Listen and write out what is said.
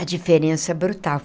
A diferença é brutal.